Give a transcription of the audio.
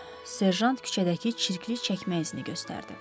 Serjant küçədəki çirkli çəkmək izini göstərdi.